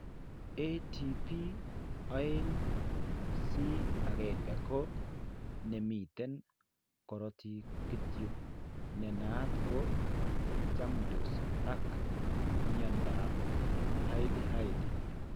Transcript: ATP2C1 ko ne miten korootiik kityo ne naat ko chamndos ak mnyandoap Hailey Hailey.